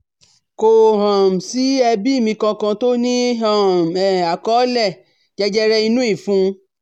Kò um sí ẹbí mi kankan tó ní um àkọọ́lẹ̀ jẹjẹre inú ìfun